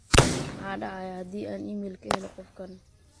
maxaa dhacaya haddii aan iimayl ka helo qofkan